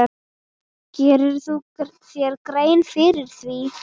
Gerirðu þér grein fyrir því?